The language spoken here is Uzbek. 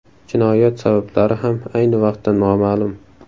Jinoyat sabablari ham ayni vaqtda noma’lum.